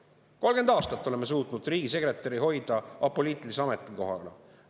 Me oleme 30 aastat suutnud hoida riigisekretäri kohta apoliitilise ametikohana.